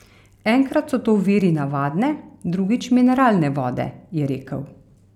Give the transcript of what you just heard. Enkrat so to viri navadne, drugič mineralne vode, je rekel.